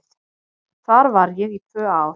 Þar var ég í tvö ár.